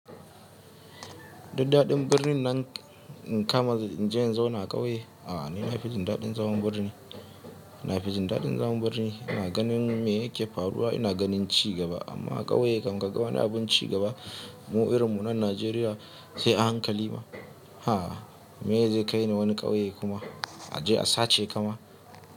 Duk dadin birnin nan nka, kin kama inje in zauna a ƙauye. A'a ni na fi jin daɗin zaman birni, na fi jin daɗin zaman birni. Na ganin me yake faruwa, ina ganin ci gaba amma a ƙauye kam, ka ga wani abun ci gaba. Mu irin mu nan Nigeria sai a hankali ba Ha! Mene zai kai ni wani ƙauye kuma? Aje a sace ka ma.